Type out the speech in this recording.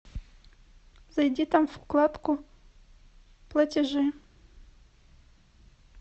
зайди там в вкладку платежи